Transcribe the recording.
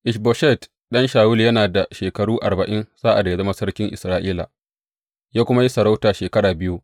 Ish Boshet ɗan Shawulu yana da shekaru arba’in sa’ad da ya zama sarkin Isra’ila, ya kuma yi sarauta shekara biyu.